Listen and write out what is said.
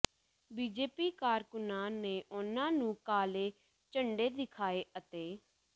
BJP ਕਾਰਕੁਨਾਂ ਨੇ ਉਨ੍ਹਾਂ ਨੂੰ ਕਾਲੇ ਝੰਡੇ ਦਿਖਾਏ ਅਤੇ